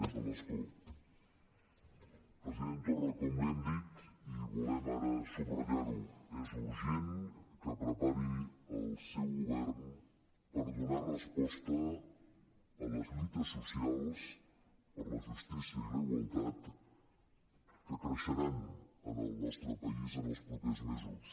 des de l’escó president torra com li hem dit i volem ara subratllar·ho és urgent que prepari el seu govern per donar resposta a les lluites so·cials per la justícia i la igualtat que creixeran en el nostre país en els propers mesos